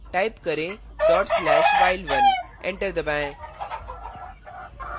type करें dot slash while1 enter दबाएं